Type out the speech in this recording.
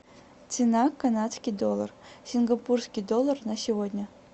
цена канадский доллар сингапурский доллар на сегодня